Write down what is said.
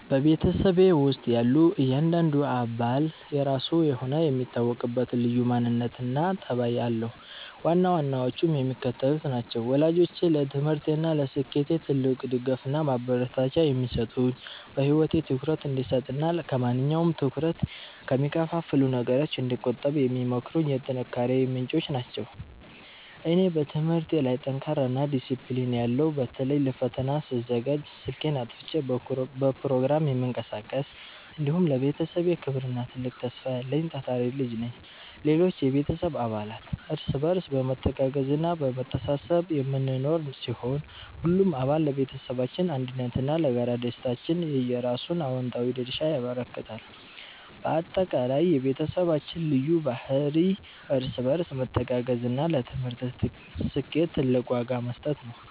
በቤተሰቤ ውስጥ ያለ እያንዳንዱ አባል የራሱ የሆነ የሚታወቅበት ልዩ ማንነትና ጠባይ አለው፤ ዋና ዋናዎቹም የሚከተሉት ናቸው፦ ወላጆቼ፦ ለትምህርቴና ለስኬቴ ትልቅ ድጋፍና ማበረታቻ የሚሰጡኝ፣ በህይወቴ ትኩረት እንድሰጥና ከማንኛውም ትኩረት ከሚከፋፍሉ ነገሮች እንድቆጠብ የሚመክሩኝ የጥንካሬዬ ምንጮች ናቸው። እኔ፦ በትምህርቴ ላይ ጠንካራና ዲሲፕሊን ያለው (በተለይ ለፈተና ስዘጋጅ ስልኬን አጥፍቼ በፕሮግራም የምቀሳቀስ)፣ እንዲሁም ለቤተሰቤ ክብርና ትልቅ ተስፋ ያለኝ ታታሪ ልጅ ነኝ። ሌሎች የቤተሰብ አባላት፦ እርስ በርስ በመተጋገዝና በመተሳሰብ የምንኖር ሲሆን፣ ሁሉም አባል ለቤተሰባችን አንድነትና ለጋራ ደስታችን የየራሱን አዎንታዊ ድርሻ ያበረክታል። ባጠቃላይ፣ የቤተሰባችን ልዩ ባህሪ እርስ በርስ መተጋገዝና ለትምህርት ስኬት ትልቅ ዋጋ መስጠት ነው።